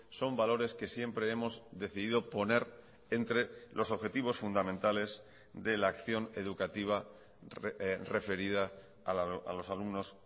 son valores que siempre hemos decidido poner entre los objetivos fundamentales de la acción educativa referida a los alumnos